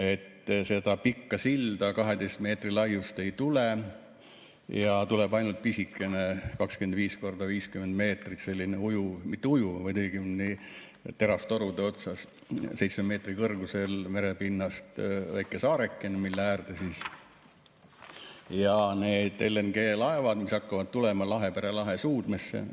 Et seda pikka 12 meetri laiust silda ei tule, tuleb ainult pisikene, 25 x 50 meetrit, selline ujuv või õigemini mitte ujuv, vaid terastorude peal 7 meetri kõrgusel merepinnast väike saareke, mille äärde siis need LNG-laevad hakkavad tulema Lahepere lahe suudmesse.